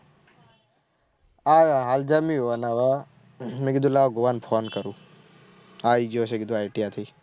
આયા ને હેવે મેં કીધું લાવ ગોયા ને phone કરું આયી ગયો છું કીધું. ITI થી